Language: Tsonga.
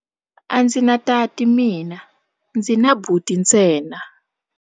A ndzi na tati mina, ndzi na buti ntsena.